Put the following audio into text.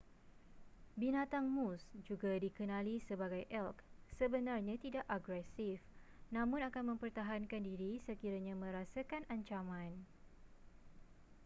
binatang moose juga dikenali sebagai elk sebenarnya tidak agresif namun akan mempertahankan diri sekiranya merasakan ancaman